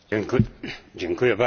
Panie Przewodniczący!